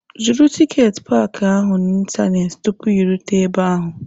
Zụrụ tiketi paaki ahụ n'ịntanetị tupu ị rute ebe ahụ!